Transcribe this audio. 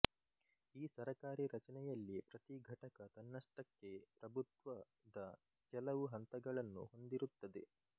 ಈ ಸರಕಾರೀ ರಚನೆಯಲ್ಲಿ ಪ್ರತಿ ಘಟಕ ತನ್ನಷ್ಟಕ್ಕೆ ಪ್ರಭುತ್ವದ ಕೆಲವು ಹಂತಗಳನ್ನು ಹೊಂದಿರುತ್ತದೆ